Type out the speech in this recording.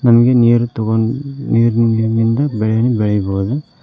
ಹಂಗೆ ನೀಯರ್ ತಗೊಂಡ್ ನೀರಿನಿಂದ ಬೆಳೆಯನ್ ಬೆಳಿಬೋದು.